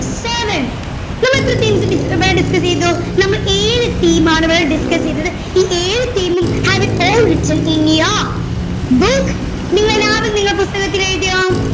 seven നമ്മൾ എത്ര themes dis ഏർ discuss ചെയ്തു നമ്മൾ ഏഴു theme ആണ് ഇവിടെ discuss ചെയ്തത് ഈ ഏഴു theme ഉം have you all written in your book നിങ്ങൾ എല്ലാവരും നിങ്ങളുടെ പുസ്തകത്തിൽ എഴുതിയോ